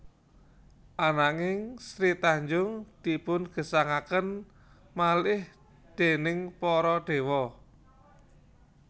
Ananging Sri Tanjung dipun gesangaken malih déning para dewa